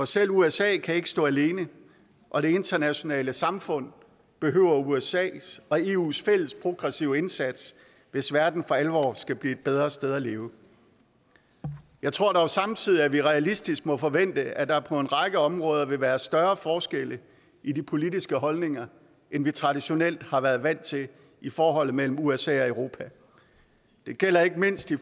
selv usa kan ikke stå alene og det internationale samfund behøver usas og eus fælles progressive indsats hvis verden for alvor skal blive et bedre sted at leve jeg tror dog samtidig at vi realistisk må forvente at der på en række områder vil være større forskelle i de politiske holdninger end vi traditionelt har været vant til i forholdet mellem usa og europa det gælder ikke mindst i